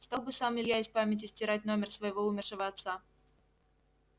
стал бы сам илья из памяти стирать номер своего умершего отца